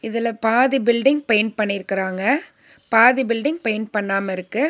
இதுல பாதி building paint பண்ணிருக்குறாங்க பாதி பில்டிங் பெயிண்ட் பண்ணாம இருக்கு.